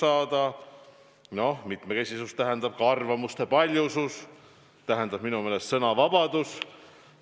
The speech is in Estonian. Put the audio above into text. Aga mitmekesisus tähendab ka arvamuste paljusust, see tähendab minu meelest sõnavabadust.